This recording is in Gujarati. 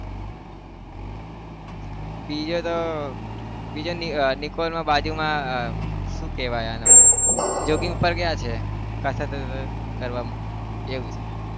બીજો તો બીજો નિકોલ બાજુમાં આહ શું કહેવાય આનું joging ઉપર ગયા છે કસરત કરવા એવું છે.